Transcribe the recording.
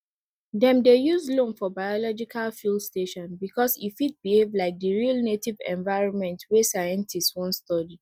dem dey use loam for biological field station because e fit behave like the real native environment wey scientists wan study